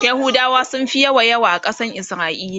yahudawa sunfi yawa yawa a Kasan isra'ila